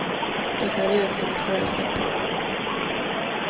Då ser vi ut som ett förälskat par.